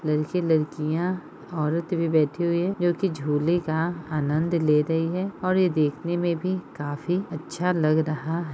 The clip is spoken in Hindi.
लड़के लड़कियां औरत भी बैठी हुई है जो की झूले का आनंद ले रही है और यह देखने में भी काफी अच्छा लग रहा --